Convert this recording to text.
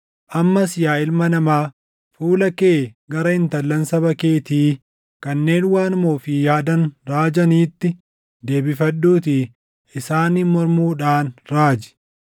“Ammas yaa ilma namaa, fuula kee gara intallan saba keetii kanneen waanuma ofii yaadan raajaniitti deebifadhuutii isaaniin mormuudhaan raaji;